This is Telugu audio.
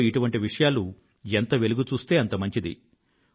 అందులో ఇటువంటి విషయాలు ఎంత వెలుగు చూస్తే అంత మంచిది